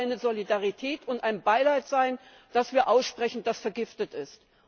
Dann wird es eine Solidarität und ein Beileid sein, das wir aussprechen, das vergiftet ist.